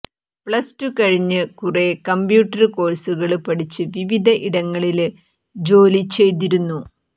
plus two കഴിഞ്ഞ് കുറേ computer കോഴ്സുകള് പഠിച്ച് വിവിധ ഇടങ്ങളില് ജോലി ചെയ്തിരുന്നു